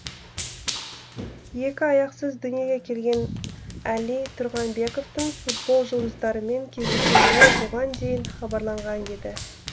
екі аяқсыз дүниеге келген әли тұрғанбековтың футбол жұлдыздарымен кездесетіні бұған дейін хабарланған еді